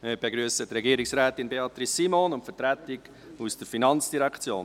Wir begrüssen Regierungsrätin Beatrice Simon und die Vertretung der FIN.